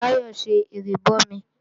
Táyọ̀ ń ṣe ìrìbọmi